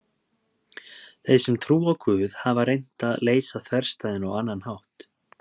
Þeir sem trúa á Guð hafa reynt að leysa þverstæðuna á annan hátt.